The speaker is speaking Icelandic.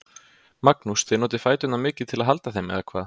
Magnús: Þið notið fæturna mikið til að halda þeim, eða hvað?